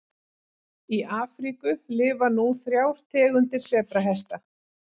Í Afríku lifa nú þrjár tegundir sebrahesta.